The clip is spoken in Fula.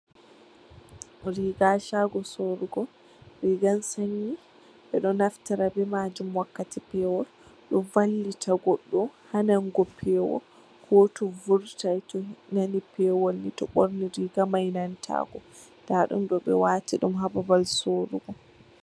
Riga ha shago surugo, rigan sanyi ɓeɗo naftira be majum wakkati pewol, ɗo vallita goɗɗo ha nanugo pewol ko to vurtai to nani pewol ni to borni riga mai nanta ko, nda ɗum ɗo ɓe wati ɗum ha babal sorugo.